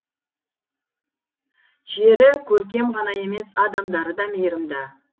жері көркем ғана емес адамдары да мейірімді